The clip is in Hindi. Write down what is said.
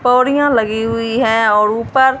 पौड़ियां लगी हुई है और ऊपर--